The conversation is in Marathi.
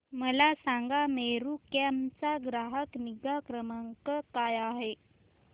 मला सांगा मेरू कॅब चा ग्राहक निगा क्रमांक काय आहे